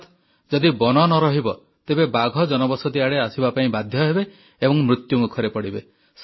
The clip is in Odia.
ଅର୍ଥାତ୍ ଯଦି ବନ ନ ରହିବ ତେବେ ବାଘ ଜନବସତି ଆଡେ ଆସିବା ପାଇଁ ବାଧ୍ୟ ହେବେ ଏବଂ ମୃତ୍ୟୁମୁଖରେ ପଡ଼ିବେ